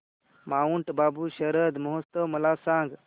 Mount Abu शरद महोत्सव मला सांग